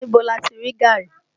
Níbo lati rí gaàrí?